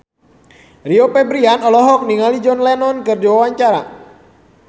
Rio Febrian olohok ningali John Lennon keur diwawancara